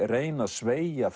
reyna að sveigja